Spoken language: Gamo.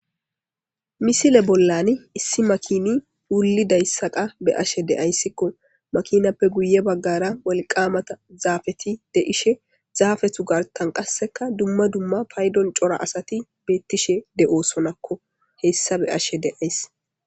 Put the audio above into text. misile bollani issi makini wullidayssakkaa be'ashshe de'ayssikko makinappe guye baggara walqqamatta zaafetti de'ishshin zaafettu garttan qassekka dumma dumma payddon cora asati beettishshe de'ossonakko hessa be'ashshe de'ays